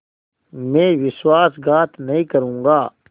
मैं विश्वासघात नहीं करूँगा